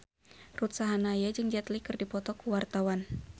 Ruth Sahanaya jeung Jet Li keur dipoto ku wartawan